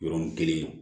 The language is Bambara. Yɔrɔnin kelen